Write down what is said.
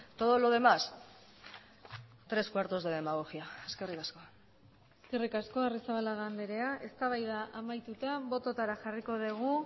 todo lo demás tres cuartos de demagogia eskerrik asko eskerrik asko arrizabalaga andrea eztabaida amaituta bototara jarriko dugu